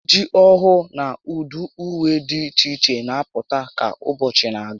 Ejiji ọhụụ na ụdị ùwé dị iche iche n'apụta ka ụbọchị na-agba